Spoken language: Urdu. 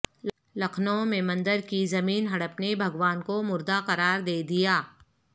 لکھنو میںمندر کی زمین ہڑپنے بھگوان کو مردہ قرار دیدیا